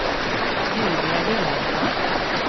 Julia Vilhelmsson